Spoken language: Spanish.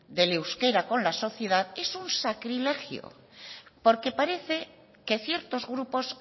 del euskera con la sociedad es un sacrilegio porque parece que ciertos grupos